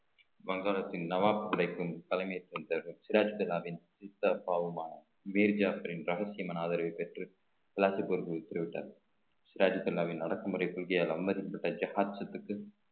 வங்காளத்தின் நவாப் படைக்கும் தலைமைத் தொண்டர்கள் சித்தப்பாவுமான ரகசியமான ஆதரவைப் பெற்று பிளாஸ்டிக் பொருட்களுக்கு உத்தரவிட்டார் சிராஜ் அண்ணாவின் அடக்குமுறை